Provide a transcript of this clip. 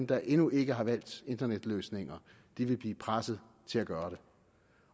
der endnu ikke har valgt internetløsninger vil blive presset til at gøre det